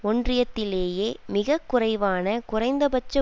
ஒன்றியத்திலேயே மிக குறைவான குறைந்த பட்ச